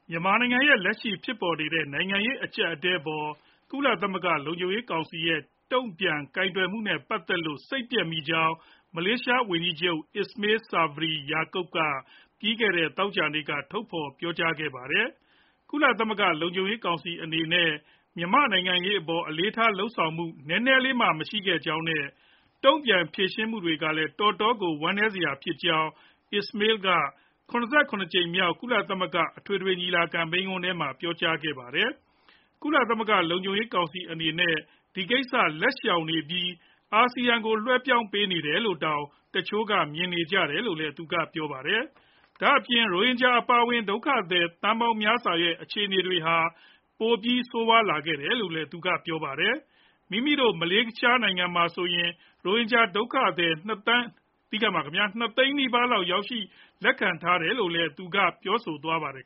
မြန်မာနိုင်ငံရဲ့ လက်ရှိဖြစ်ပေါ်နေတဲ့ နိုင်ငံရေး အကြပ်အတည်းအပေါ် ကုလသမဂ္ဂ လုံခြုံရေးကောင်စီရဲ့တုံ့ပြန်ကိုင်တွယ်မှုနဲ့ ပတ်သက်လို့ စိတ်ပျက်မိကြောင်း မလေးရှားဝန်ကြီးချုပ် Ismail Sabri Yaakob က ပြီးခဲ့တဲ့ သောကြာနေ့က ထုတ်ဖော်ပြောကြားခဲပါတယ်။ ကုလသမဂ္ဂ လုံခြုံရေးကောင်စီ အနေနဲ့ မြန်မာ့နိုင်ငံရေးအပေါ် အလေးထား လုပ်ဆောင်မှု နည်းနည်းလေးမှ မရှိခဲ့ကြောင်း နဲ့ တုံ့ပြန်ဖြေရှင်းမှုတွေကလည်း တော်တော်ကို ဝမ်းနည်းစရာဖြစ်ကြောင်း Ismail က ၇၇ ကြိမ်မြောက် ကုလသမဂ္ဂ အထွေထွေညီလာခံမိန်းခွန်းထဲမှာ ပြောကြားသွားပါတယ်။ ကုလသမဂ္ဂ လုံခြုံရေးကောင်စီအနေနဲ့ ဒီကိစ္စ လက်ရှောင်နေပြီး ASEAN ကို လွှဲပြောင်းပေးနေတယ်လို့တောင် တချို့က မြင်နေကြတယ်လို့လည်း သူကပြောပါတယ်။ ဒါအပြင် ရိုဟင်ဂျာ အပါအဝင် ဒုက္ခသည် သန်းပေါင်းများစွာရဲ့ အခြေအနေတွေဟာ ပိုပြီး ဆိုးဝါးလာခဲ့တယ်လို့ သူကပြောပါတယ်။ မိမိတို့ မလေးရှားနိုင်ငံဟာ ဆိုရင် ရိုဟင်ဂျာ ဒုက္ခသည် ၂ သိန်းနီးပါးလောက် ရောက်ရှိ လက်ခံထားရတယ်လို့လည်း သူကပြောသွားပါတယ်